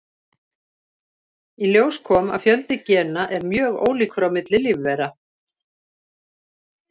Í ljós kom að fjöldi gena er mjög ólíkur á milli lífvera.